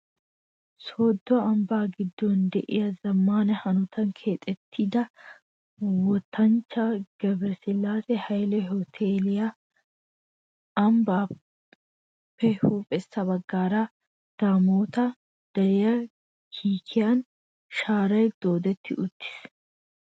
Sooddo ambbaa giddon de'iyaa zammaana hanotan keexettida wottanchchaa Gebiresillaase Hayile hooteeliyaa. Ambbaappe huuphessa bagaara daamoota deriyaa kiikiyan shaaray dooddi uttis.